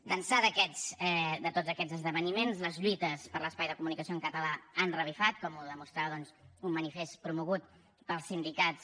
d’ençà de tots aquests esdeveniments les lluites per l’espai de comunicació en català han revifat com ho demostrava doncs un manifest promogut pels sindicats